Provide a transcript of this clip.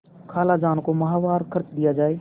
खालाजान को माहवार खर्च दिया जाय